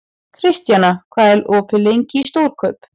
Kristjana, hvað er opið lengi í Stórkaup?